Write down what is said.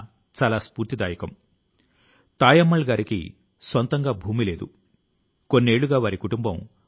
సహచరులారా పెద్ద గ్రంథాలయాన్ని తెరవాలనే కోరిక విట్ఠలాచార్య గారికి చిన్నప్పటి నుంచి ఉండేది